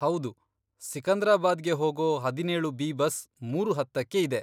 ಹೌದು, ಸಿಕಂದ್ರಾಬಾದ್ಗೆ ಹೋಗೋ ಹದಿನೇಳು ಬಿ ಬಸ್ ಮೂರು ಹತ್ತಕ್ಕೆ ಇದೆ.